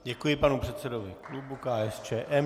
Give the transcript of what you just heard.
Děkuji panu předsedovi klubu KSČM.